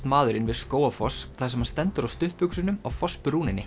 maðurinn við Skógarfoss þar sem hann stendur á stuttbuxunum á